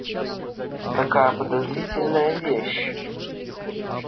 такая подозрительная вещь